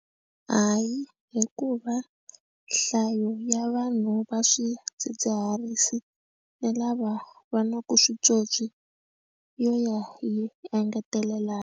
Hayi hikuva nhlayo ya vanhu va swidzidziharisi ni lava va na ku switsotswi yo ya yi engetelelanini.